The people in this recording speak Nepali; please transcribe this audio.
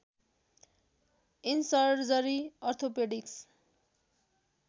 in surgery orthopaedics